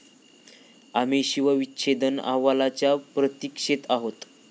आम्ही शवविच्छेदन अहवालाच्या प्रतीक्षेत आहोत.